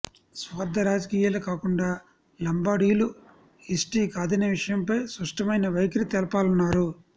స్వార్థ రాజకీయాలు కాకుండా లంబాడీలు ఎస్టీ కాదనే విషయంపై స్పష్టమైన వైఖరి తెలపాలన్నారు